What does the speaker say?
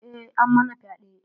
Eh, ammana fyae.